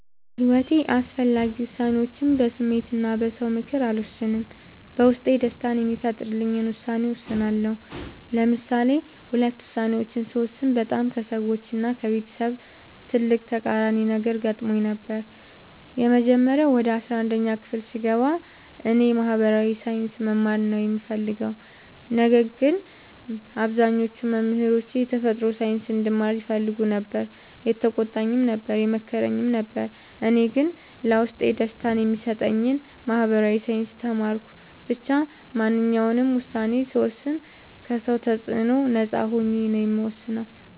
በሒወቴ አስፈላጊ ወሳኔዎችን በስሜት እና በ ሰው ምክር አልወሰንም። በውስጤ ደስታን የሚፈጥርልኝን ውሳኔ እወስናለሁ። ለምሳሌ ሁለት ውሳኔዎችን ስወስን በጣም ከሰዎች እና ከቤተሰብ ትልቅ ተቃራኒ ነገር ገጥሞኝ ነበር። የመጀመሪያው ወደ አስራአንድ ክፍል ስገባ እኔ የ ማህበራዊ ሳይንስ መማር ነው የምፈልገው። ነገር ግን አብዛኞቹ መምህሮቼ የተፈጥሮ ሳይንስ እንድማር ይፈልጉ ነበር የተቆጣኝም ነበር የመከረኝም ነበር እኔ ግን ለውስጤ ደስታን የሚሰጠኝን ማህበራዊ ሳይንስ ተማርኩ። ብቻ ማንኛውንም ውሳኔ ስወስን ከ ሰው ተፅዕኖ ነፃ ሆኜ ነው የምወስነው።